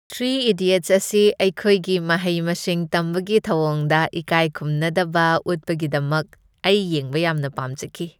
Three Idiots ꯑꯁꯤ ꯑꯩꯈꯣꯏꯒꯤ ꯃꯍꯩ ꯃꯁꯤꯡ ꯇꯝꯕꯒꯤ ꯊꯧꯑꯣꯡꯗ ꯏꯀꯥꯏꯈꯨꯝꯅꯗꯕ ꯎꯠꯄꯒꯤꯗꯃꯛ ꯑꯩ ꯌꯦꯡꯕ ꯌꯥꯝꯅ ꯄꯥꯝꯖꯈꯤ꯫